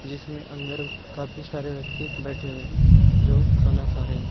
इसमें अंदर काफी सारे व्यक्ति बैठे हुए हैं जो खाना खा रहे हैं।